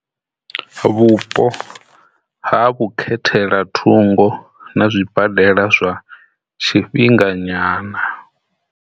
Vhupo ha vhukhethela thungo na zwibadela zwa tshifhinga nyana.